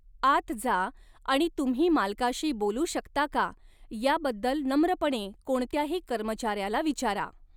आत जा आणि तुम्ही मालकाशी बोलू शकता का याबद्दल नम्रपणे कोणत्याही कर्मचाऱ्याला विचारा.